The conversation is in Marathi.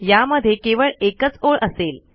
यामध्ये केवळ एकच ओळ असेल